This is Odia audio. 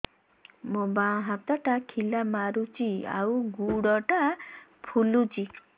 ମୋ ବାଆଁ ହାତଟା ଖିଲା ମାରୁଚି ଆଉ ଗୁଡ଼ ଟା ଫୁଲୁଚି